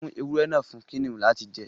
fún ewúrẹ náa fún Kiniun lati jẹ.